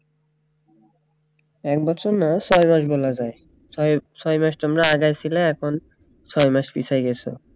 এক বছর না সাড়ে ছয় বলা যায় ছয় মাস তোমরা আগায় ছিলে এখন ছয় মাস পিছায়ে গেছে